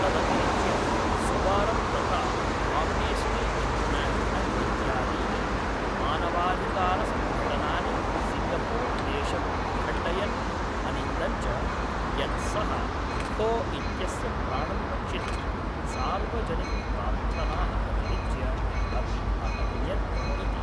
तदतिरिच्य, सुवारम्‌ तथा Amnesty International इत्यादीनि मानवाधिकारसङ्घटनानि सिङ्गपूर् देशम् अखण्डयन्‌, अनिन्दन् च यत् सः खो इत्यस्य प्राणं रक्षितुं सार्वजनिकप्रार्थनाः अतिरिच्य अपि अहन्यत् इति।